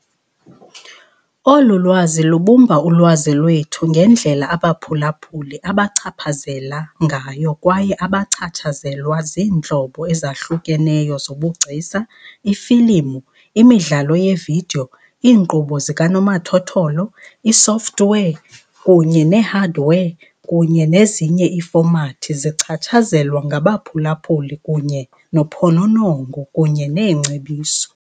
Olu lwazi lubumba ulwazi lwethu ngendlela abaphulaphuli abachaphazela ngayo kwaye bachatshazelwa ziintlobo ezahlukeneyo zobugcisa. Iifilimu, imidlalo yevidiyo, iinkqubo zikanomathotholo, isoftware kunye nehardware, kunye nezinye iifomati zichatshazelwa ngabaphulaphuli kunye nophononongo kunye neengcebiso.